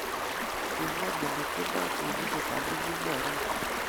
Kingem oleityendoi tyenindet amu kimarue